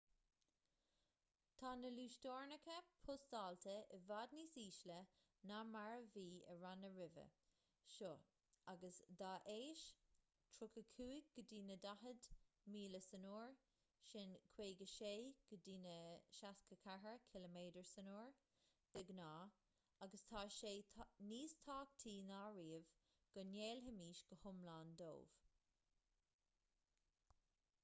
tá na luasteorainneacha postáilte i bhfad níos ísle ná mar a bhí i ranna roimhe seo agus dá éis — 35-40 msu 56-64 km/u de ghnáth — agus tá sé níos tábhachtaí ná riamh go ngéillfimis go hiomlán dóibh